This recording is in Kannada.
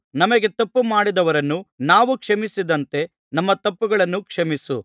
ನಮಗೆ ತಪ್ಪು ಮಾಡಿದವರನ್ನು ನಾವು ಕ್ಷಮಿಸಿದಂತೆ ನಮ್ಮ ತಪ್ಪುಗಳನ್ನು ಕ್ಷಮಿಸು